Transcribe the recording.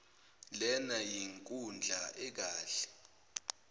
lena yinkundla ekahle